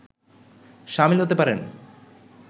সামিল হতে পারেন